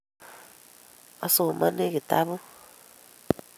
Asomani kitabut